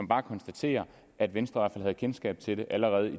bare konstatere at venstre i hvert kendskab til det allerede